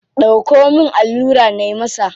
Dauko min allura nayi masa.